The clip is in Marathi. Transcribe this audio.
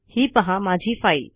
ही पहा माझी फाईल